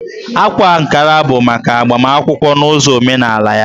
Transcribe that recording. Ákwá Ankara bụ maka agbamakwụkwọ n'ụzọ omenaalaya